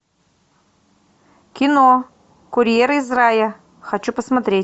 кино курьер из рая хочу посмотреть